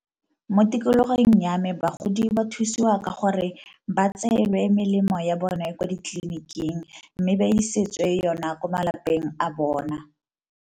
Mo tikologong ya me bagodi ba thusiwa ka gore ba tseelwe melemo ya bone ko ditleliniking, mme ba isetswe yona ko malapeng a bona.